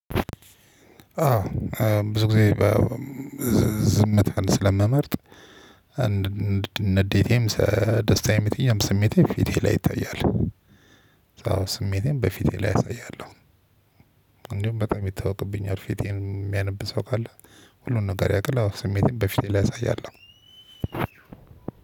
አዎ ብዙ ጊዜ። ዝምታን ስለምመርጥ አንድ ንዴቴም ደስታዬም ስሜቴም ፊቴ ላይ ይታያል። ስሜቴም በፊቴ ላይ አሳያለሁ። እንዲሁ በጣም ይታወቅብኛል ፊቴን የሚያነብ ሰው ካለ ሁሉን ነገር ያቅል ስሜቴን በፊት ላይ አሳያለሁ።